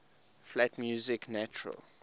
flat music natural